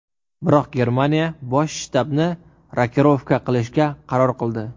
Biroq Germaniya bosh shtabni rokirovka qilishga qaror qildi.